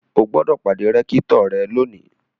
O gbọ́dọ̀ pàdé rẹ́kítọ̀ lónìí!